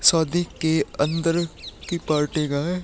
Saudi के अंदर की पार्टी का है।